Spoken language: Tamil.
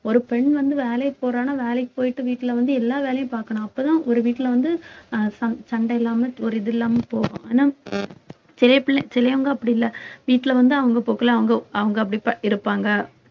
ஒரு பெண் வந்து வேலைக்கு போறான்னா வேலைக்கு போயிட்டு வீட்ல வந்து எல்லா வேலையும் பாக்கணும் அப்பதான் ஒரு வீட்டுல வந்து அஹ் சண்~ சண்டை இல்லாம ஒரு இது இல்லாம போகும் ஆனா சிலவங்க அப்படி இல்லை வீட்டுல வந்து அவங்க போக்குல அவங்க அவங்க அப்படி இருப்பாங்க